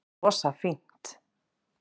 Rosa fínt